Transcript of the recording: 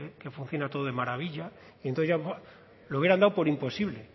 que funciona todo de maravilla entonces lo hubieran dado por imposible